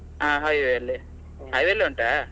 ಹಾ highway ಅಲ್ಲಿ, highway ಅಲ್ಲೇ ಉಂಟಾ?